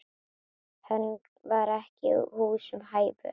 Hann var ekki húsum hæfur.